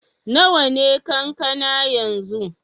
Nawa ne kankana yanzu?